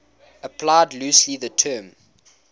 applied loosely the term